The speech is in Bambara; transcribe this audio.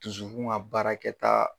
Dusukun ka baarakɛta